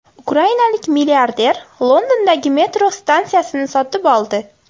Ukrainalik milliarder Londondagi metro stansiyasini sotib oldi.